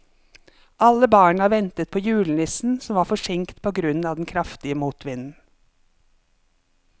Alle barna ventet på julenissen, som var forsinket på grunn av den kraftige motvinden.